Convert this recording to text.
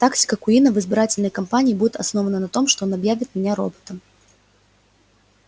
тактика куинна в избирательной кампании будет основана на том что он объявит меня роботом